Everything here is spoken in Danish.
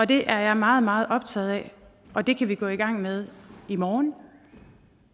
det er jeg meget meget optaget af og det kan vi gå i gang med i morgen